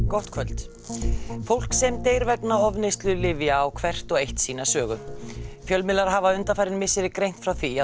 gott kvöld fólk sem deyr vegna ofneyslu lyfja á hvert og eitt sína sögu fjölmiðlar hafa undanfarin misseri greint frá því að